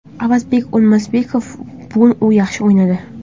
Avazbek O‘lmasaliyev bugun u yaxshi o‘ynadi.